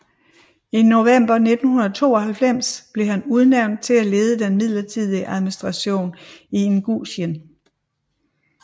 I november 1992 blev han udnævnt til at lede den midlertidige administration i Ingusjien